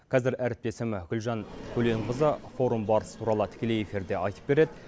қазір әріптесім гүлжан көленқызы форум барысы туралы тікелей эфирде айтып берет